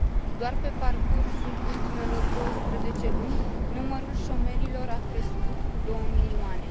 Doar pe parcursul ultimelor 12 luni, numărul șomerilor a crescut cu 2 milioane.